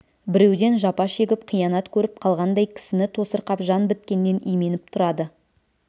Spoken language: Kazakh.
біреуден жапа шегіп қиянат көріп қалғандай кісіні тосырқап жан біткеннен именіп тұрады